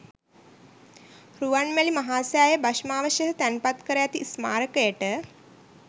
රුවන්මැලි මහා සෑය භෂ්මාවශේෂ තැන්පත් කර ඇති ස්මාරකයට